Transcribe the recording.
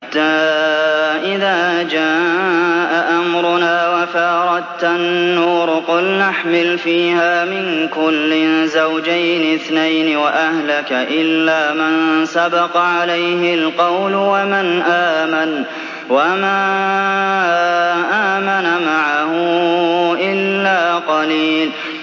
حَتَّىٰ إِذَا جَاءَ أَمْرُنَا وَفَارَ التَّنُّورُ قُلْنَا احْمِلْ فِيهَا مِن كُلٍّ زَوْجَيْنِ اثْنَيْنِ وَأَهْلَكَ إِلَّا مَن سَبَقَ عَلَيْهِ الْقَوْلُ وَمَنْ آمَنَ ۚ وَمَا آمَنَ مَعَهُ إِلَّا قَلِيلٌ